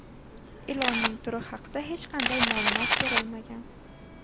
Ilonning turi haqida hech qanday ma’lumot berilmagan.